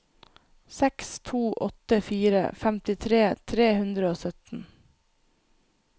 seks to åtte fire femtifire tre hundre og sytten